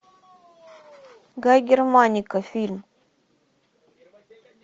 гай германика фильм